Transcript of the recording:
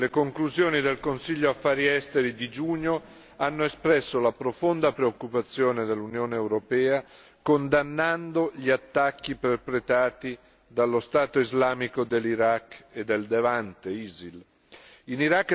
Le conclusioni del Consiglio Affari esteri di giugno hanno espresso la profonda preoccupazione dell'Unione europea, condannando gli attacchi perpetrati dallo Stato islamico dell'Iraq e del Levante In